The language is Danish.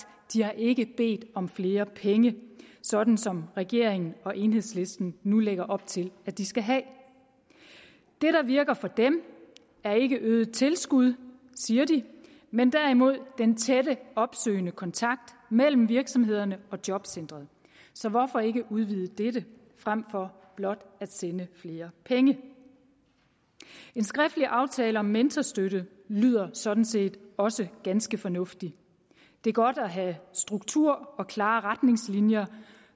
ikke bedt om flere penge sådan som regeringen og enhedslisten nu lægger op til at de skal have det der virker for dem er ikke øget tilskud siger de men derimod den tætte opsøgende kontakt mellem virksomhederne og jobcentrene så hvorfor ikke udvide dette frem for blot at sende flere penge en skriftlig aftale om mentorstøtte lyder sådan set også ganske fornuftig det er godt at have struktur og klare retningslinjer